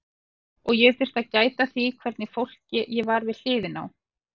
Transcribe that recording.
Og ég þurfti að gæta að því hvernig fólki ég var við hliðina á.